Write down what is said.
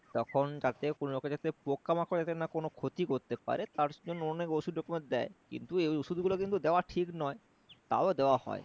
তখন যাতে কোন রকম যাতে পোকা মাকড় যাতে কোন ক্ষতি না করতে পারে তার জন্য অনেক ওষুধ রকমের দেয় কিন্তু এই ওষুধ গুলো কিন্তু দেওয়া ঠিক নয় তও দেওয়া হয়